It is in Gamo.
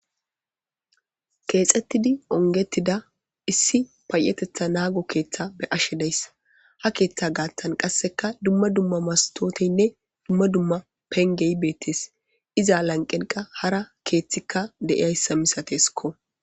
Keexettidi ongettida issi payetetha naago keeththa be ashe deys ha keeththa gaatan qasseka dumma dumma mastoteynne dumma dumma pengey beettes iza lanqeniqa hara keeththikka deiyayssa misateskko.